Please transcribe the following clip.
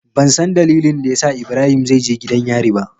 Bansan dalilin dayasa ibrahim zaije gidan yari ba.